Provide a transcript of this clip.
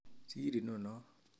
Sir inonon